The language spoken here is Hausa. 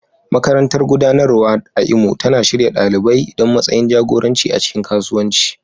Makarantar Gudanarwa a Imo tana shirya ɗalibai don matsayin jagoranci a cikin kasuwanci.